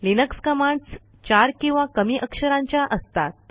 Linux commands चार किंवा कमी अक्षरांच्या असतात